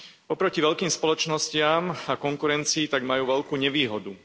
Oproti veľkým spoločnostiam a konkurencii tak majú veľkú nevýhodu.